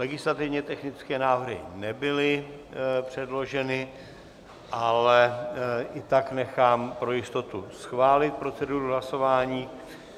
Legislativně technické návrhy nebyly předloženy, ale i tak nechám pro jistotu schválit proceduru hlasování.